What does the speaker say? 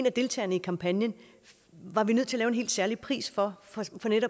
af deltagerne i kampagnen var vi nødt til at lave en helt særlig pris for